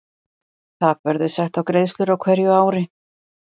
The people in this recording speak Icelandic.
Þak verður sett á greiðslur á hverju ári.